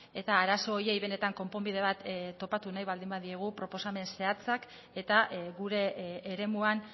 eta arazo horiei benetan konponbide bat topatu nahi baldin badiegu proposamen zehatzak eta gure eremuan